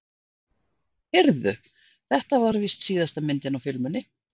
Heyrðu. þetta var víst síðasta myndin á filmunni.